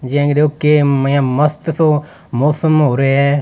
जे आंके देखो के मय मस्त सो मौसम हो रहियो है।